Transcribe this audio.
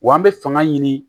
Wa an bɛ fanga ɲini